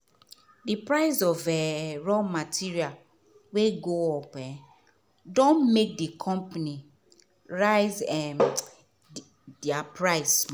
the price of um raw material wey go up um don make the company raise um dia price